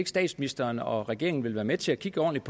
statsministeren og regeringen ikke vil være med til at kigge ordentligt